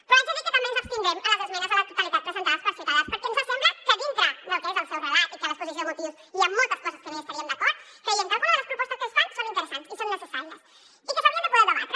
però haig de dir que també ens abstindrem en les esmenes a la totalitat presentades per ciutadans perquè ens sembla que dintre del que és el seu relat i que a l’exposició de motius hi han moltes coses que no hi estaríem d’acord creiem que alguna de les propostes que es fan són interessants i són necessàries i que s’haurien de poder debatre